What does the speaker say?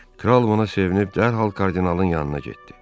Kral buna sevinib dərhal kardinalın yanına getdi.